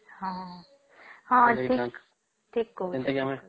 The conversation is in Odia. ହଁ ହଁ ଏଠି